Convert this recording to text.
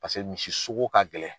Paseke misi sogo ka gɛlɛn.